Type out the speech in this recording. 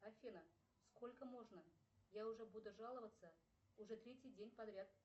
афина сколько можно я уже буду жаловаться уже третий день подряд